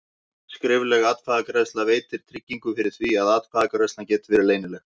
Skrifleg atkvæðagreiðsla veitir tryggingu fyrir því að atkvæðagreiðslan geti verið leynileg.